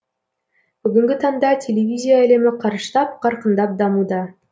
бүгінгі таңда телевизия әлемі қарыштап қарқындап дамуда